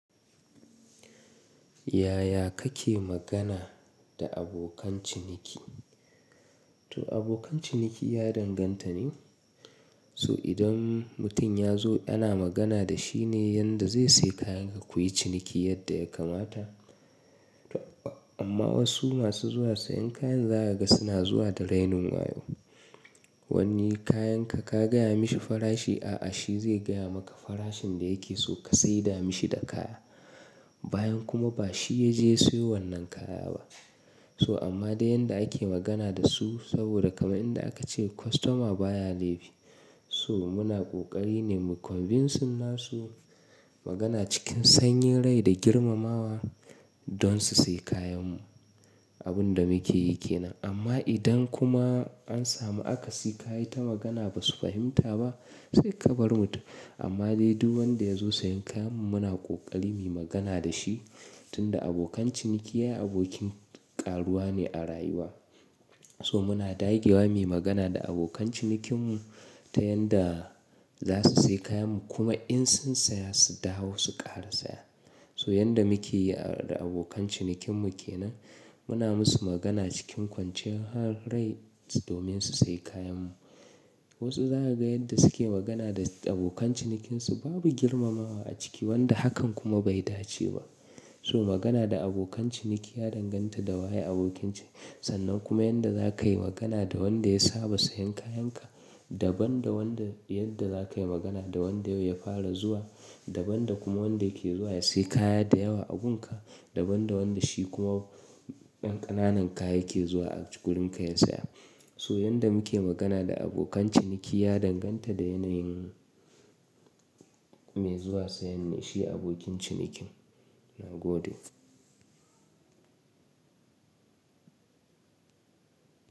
Yaya kake magana da abokan ciniki? To abokan ciniki ya danganta ne. So idan mutum ya zo ana magana da shi ne yanda zai sayi kayanka kuyi ciniki yadda ya kamata. Amma wasu masu zuwa sayen kayan za ka ga suna zuwa da rainin wayo. Wani kayanka ka gaya mashi farashi, a'a shi zai gaya maka farashin da yake so ka saida mashi da kaya. Bayan kuma ba shi ya je ya siyo wannan kaya ba. Wani kayanka ka gaya mashi farashi, a'a shi zai gaya maka farashin da yake so ka saida mashi da kaya. So muna ƙoƙari ne mu convince nasu magana cikin sanyin rai da girmamawa don su sayi kayanmu. Abin da muke yi ke nan. Amma idan kuma an samu aka siyi ka yi ta magana ba su fahimta ba, sai ka bar mutum. Amma dai duk wanda ya zo sayen kayanmu muna ƙoƙari mu yi magana da shi, tunda abokan ciniki ya yi abokin ƙaruwa ne a rayuwa. So muna dagewa muyi magana da abokan cinikinmu ta yanda za su sayi kayanmu kuma in sun saya su dawo su ƙara saya. So yanda muke yi da abokan cinikinmu ke nan. Muna musu magana cikin kwanciyar hal rai domin su sayi kayanmu. Wasu za ka ga yadda suke magana da abokan cinikinsu babu girmamawa a ciki wanda hakan kuma bai dace ba. So magana da abokan ciniki ya danganta da waye abokin ciniki. Sannan kuma yadda za ka yi magana da wanda ya saba sayen kayanka, daban da wanda yadda za ka yi magana da wanda yau ya fara zuwa, daban da kuma wanda yake zuwa ya sayi kaya da yawa abunka, daban da wanda shi kuma ɗan ƙananan kaya yake zuwa a gurin ka ya saya. So yanda muke magana da abokan ciniki ya danganta da yanayin mai zuwa sayan ne, shi abokin cinikin. Na gode.